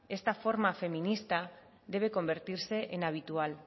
esta forma feminista debe convertirse en habitual